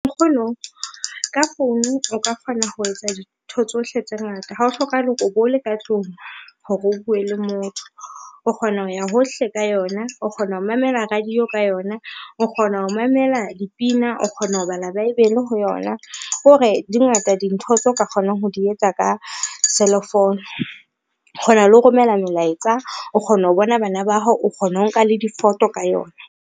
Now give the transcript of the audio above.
Nkgono ka founu o ka kgona ho etsa dintho tsohle tse ngata, ha o hlokahale hore o bo le ka tlung hore o bue le motho o kgona ho ya hohle ka yona, o kgona ho mamela radio ka yona, o kgona ho mamela dipina, o kgona ho bala Baebele ho yona, ko re di ngata dintho tseo ka kgonang ho di etsa ka selefounu. Kgona le ho romela melaetsa, o kgona ho bona bana ba hao, o kgona ho nka le difoto ka yona.